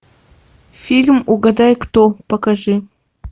фильм угадай кто покажи